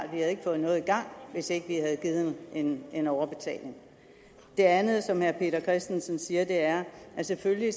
havde fået noget i gang hvis ikke vi havde givet en en overbetaling det andet som herre peter christensen siger er at selvfølgelig